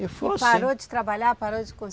E foi assim. E parou de trabalhar, parou de cons